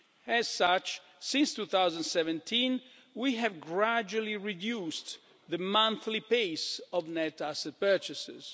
As such, since 2017, we have gradually reduced the monthly pace of net asset purchases.